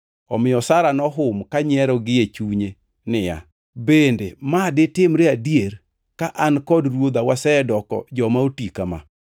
Omiyo Sara nohum kanyiero gie chunye niya, “Bende ma ditimre adier ka an kod ruodha wasedoko joma oti ka ma?”